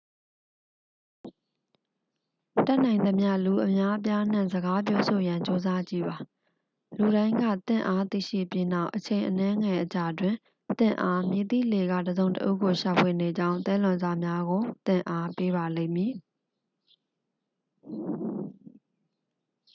တတ်နိုင်သမျှ လူအများအပြားနှင့် စကားပြောဆိုရန် ကြိုးစားကြည့်ပါ လူတိုင်းက သင့်အား သိရှိပြီးနောက် အချိန်အနည်းငယ်အကြာတွင် သင့်အား မည်သည့်လှေက တစ်စုံတစ်ဦးကို ရှာဖွေနေကြောင်း သဲလွန်စများကို သင့်အား ပေးပါလိမ့်မည်